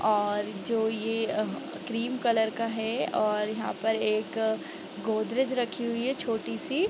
और जो ये क्रीम कलर का है और यहाँ पर एक गोदरेज रखी हुई है छोटी-सी ।